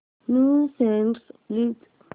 new songs please